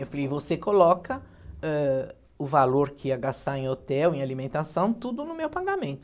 Eu falei, você coloca, ãh, o valor que ia gastar em hotel, em alimentação, tudo no meu pagamento.